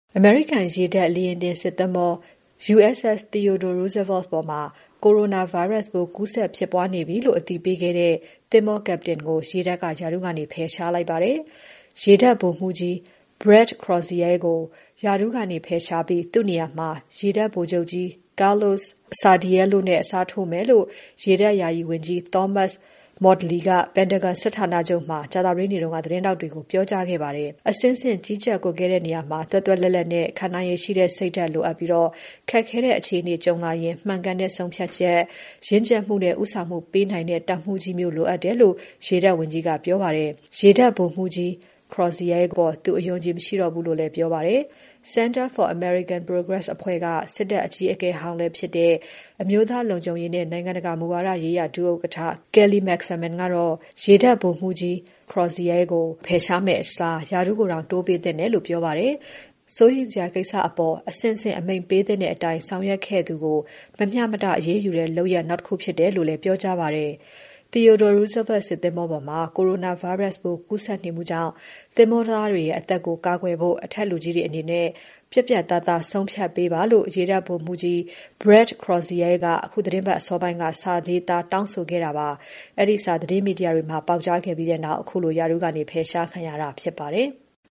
အမေရိကန်ရေတပ် လေယာဉ်တင်စစ်သင်္ဘော USS Theodore Roosevelt ပေါ်မှာ coronavirus ပိုးကူးစက်ဖြစ်ပွားနေပြီလို့ အသိပေးခဲ့တဲ့ သင်္ဘော captain ကို ရေတပ်က ရာထူးကနေ ဖယ်ရှားလိုက်ပါတယ်။ ရေတပ်ဗိုလ်မှူးကြီး Brett Crozier ကို ရာထူးကနေ ဖယ်ရှားပြီး သူ့နေရာမှာ ရေတပ်ဗိုလ်ချုပ်ကြီး Carlos Sardiello နဲ့ အစားထိုးမယ်လို့ ရေတပ်ယာယီဝန်ကြီး Thomas Modly က Pentagon စစ်ဌာနချုပ်မှာ ကြာသပတေးနေ့က သတင်းထောက်တွေကို ပြောကြားခဲ့ပါတယ်။ အဆင့်ဆင့် ကြီးကြပ်ကွပ်ကဲတဲ့နေရာမှာ သွက်သွက်လက်လက်နဲ့ ခံနိုင်ရည်ရှိတဲ့ စိတ်ဓါတ်လိုအပ်ပြီး။ ခက်ခဲတဲ့အခြေအနေကြုံလာရင် မှန်ကန်တဲ့ဆုံးဖြတ်ချက်၊ ရင့်ကြက်မှုနဲ့ ဦးဆောင်မှုပေးနိုင်တဲ့ တပ်မှူးကြီးမျိုး လိုအပ်တယ်လို့ ရေတပ်ဝန်ကြီးကပြောပါတယ်။ ရေတပ်ဗိုလ်မှူးကြီး Crozier အပေါ် သူအယုံအကြည် မရှိတော့ဘူးလို့လည်း ပြောပါတယ်။ တခြားတာဝန်ရှိသူတွေရဲ့ ပြောကြားချက်အရ Crozier ကတော့ ရေတပ်မှာ ဆက်လက်တာဝန်ထမ်းနေမှာဖြစ်ပါတယ်။ Center for American Progress အဖွဲ့က စစ်တပ်အကြီးအကဲဟောင်းဖြစ်တဲ့ အမျိးသား လုံခြုံရေးနဲ့ နိုင်ငံတကာမူဝါဒရေးရာ ဒုဥက္ကဋ္ဌ Kelly Magsamen ကတော့ ရေတပ်ဗိုလ်မှူးကြီး Crozier ကို ဖယ်ရှားမယ့်အစား ရာထူးတောင်တိုးပေးသင့်တယ်လို့ ပြောပါတယ်။ စိုးရိမ်စရာကိစ္စကို အဆင့်ဆင့် အမိန့်ပေးသင့်တဲ့အတိုင်း ဆောင်ရွက်ခဲ့သူကို မမျှမတ အရေးယူတဲ့ လုပ်ရပ်နောက် တခုဖြစ်တယ်လို့ ပြောကြားခဲ့ပါတယ်။ Theodore Roosevelt စစ်သင်္ဘောပေါ်မှာ coronavirus ပိုးကူးစက်နေမှုကြောင့် သင်္ဘောသားတွေရဲ့ အသက်ကို ကာကွယ်ဖို့ အထက်အရာရှိတွေအနေနဲ့ ပြတ်ပြတ်သားသား ဆုံးဖြတ်ပေးပါလို့ ရေတပ်ဗိုလ်မှူးကြီး Brett Crozier က အခုသီတင်းပါတ်အစောပိုင်းက စာရေးသားတောင်းဆိုခဲ့တာပါ။ အဲဒီစာ သတင်းမီဒီယာတွေမှာ ပေါက်ကြားခဲ့ပြီးနောက် ခုလို ရာထူးကနေ ဖယ်ရှားခံရတာဖြစ်ပါတယ်။